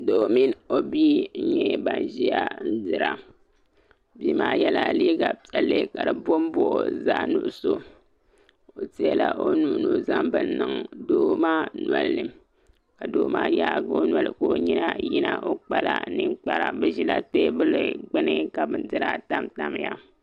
Doo mini o bia n nyɛ ban ʒiya n dira bia maa yɛla liiga piɛlli ka di booi booi zaɣ nuɣso o teela o nuhi ni o zaŋ bini niŋ doo maa nolini ka doo maa yaagi o noli ka o nyina yina o kpala ninkpara bi ʒila teebuli zuɣu ka bindira tamtamya